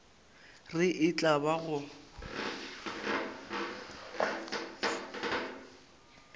re e tla ba go